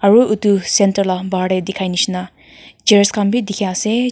aru itu centre la bahar tey dikhai nishina chairs khan bhi dikhi ase.